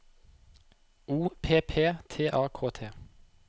O P P T A K T